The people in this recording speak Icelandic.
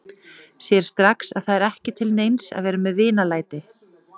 Sér strax að það er ekki til neins að vera með vinalæti.